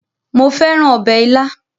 Mo fẹ́ràn ọbẹ̀ ilá